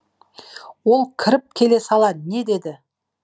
ол кіріп келе сала не деді